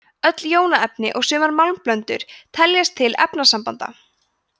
öll jónaefni og sumar málmblöndur teljast til efnasambanda